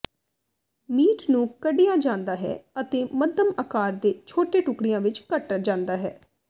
meat ਨੂੰ ਕੱਢਿਆ ਜਾਂਦਾ ਹੈ ਅਤੇ ਮੱਧਮ ਆਕਾਰ ਦੇ ਛੋਟੇ ਟੁਕੜਿਆਂ ਵਿੱਚ ਕੱਟ ਜਾਂਦਾ ਹੈ